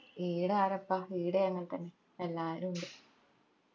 ഈട ആരാപ്പാ ഈടേം അങ്ങന തന്നെ എല്ലാരു ഇണ്ട്